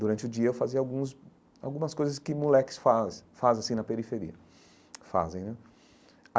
Durante o dia eu fazia alguns algumas coisas que moleques faz faz assim na periferia fazem né.